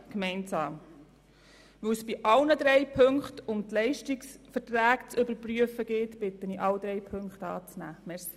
Weil es bei allen drei Ziffern um eine Überprüfung der Leistungsverträge geht, bitte ich Sie, alle drei anzunehmen.